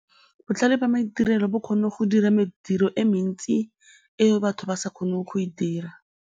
Botlhale jwa maitirelo bo kgonne go dira mediro e mentsi eo batho ba sa kgoneng go e dira.